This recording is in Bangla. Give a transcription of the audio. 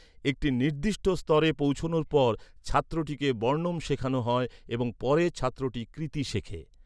একটি নির্দিষ্ট স্তরে পৌঁছনোর পর, ছাত্রটিকে বর্ণম শেখানো হয় এবং পরে, ছাত্রটি কৃতি শেখে।